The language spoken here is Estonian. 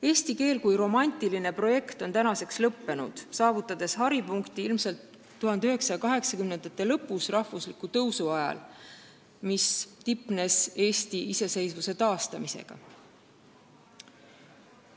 Eesti keel kui romantiline projekt on nüüdseks lõpule jõudnud, oma haripunkti saavutas see aga 1980-ndate lõpus rahvusliku tõusu ajal, mis tipnes Eesti iseseisvuse taastamisega.